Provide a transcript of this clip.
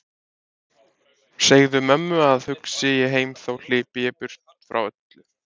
Segðu mömmu að hugsi ég heim þó hlypi ég burt öllu frá.